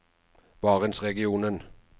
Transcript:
barentsregionen